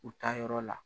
U taa yɔrɔ la